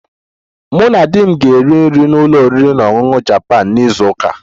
Mụ na di m ga-eri nri na ụlọ oriri na ọṅụṅụ Japan na izu ụka a